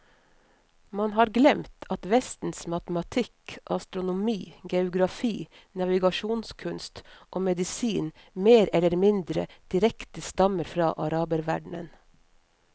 Man har glemt at vestens matematikk, astronomi, geografi, navigasjonskunst og medisin mer eller mindre direkte stammer fra araberverdenen.